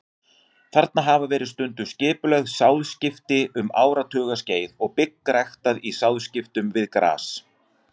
Þarna hafa verið stunduð skipulögð sáðskipti um áratugaskeið og bygg ræktað í sáðskiptum við gras.